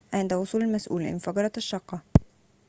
عند وصول المسئول انفجرت الشقة